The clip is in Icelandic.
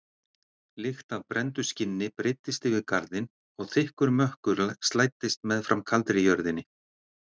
Lykt af brenndu skinni breiddist yfir garðinn og þykkur mökkur slæddist meðfram kaldri jörðinni.